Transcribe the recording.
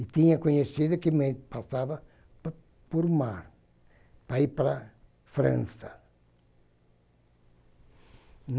E tinha conhecido que me passava po por mar para ir para a França.